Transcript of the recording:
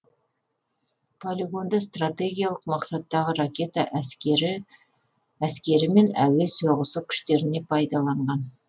полигонды стратегиялық мақсаттағы ракета әскері әскері мен әуе соғысы күштеріне пайдаланған